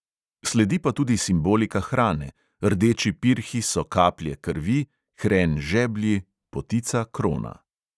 Sledi pa tudi simbolika hrane: rdeči pirhi so kaplje krvi, hren žeblji, potica krona ...